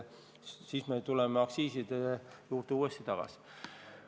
Siis me tuleme aktsiiside juurde uuesti tagasi.